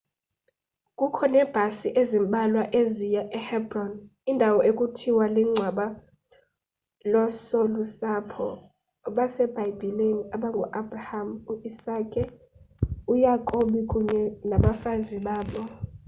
kukho neebhasi ezimbalwa eziya ehebron indawo ekuthiwa lingcwaba loosolusapho basebhayibhileni abangu abraham uisake uyakobi kunye nabafazi babo